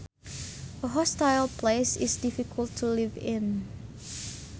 A hostile place is difficult to live in